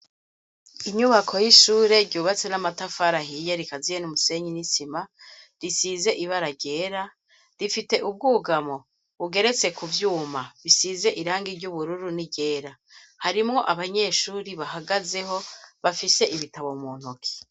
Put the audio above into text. Inyubako y'ishure ryubatse n'amatafari ahiye rikaziye n'umusenyi n'isima, risize ibara ryera, rifite ubwugamo bugeretse ku vyuma bisize irangi ry'ubururu n'iryera. Harimwo abanyeshure bahagazeho, bafise ibitabo mu ntoke.